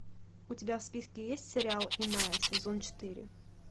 у тебя в списке есть сериал иная сезон четыре